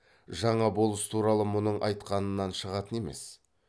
жаңа болыс туралы мұның айтқанынан шығатын емес